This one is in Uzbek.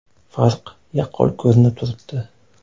Farq yaqqol ko‘rinib turibdi.